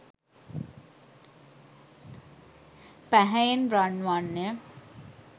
පැහැයෙන් රන්වන් ය.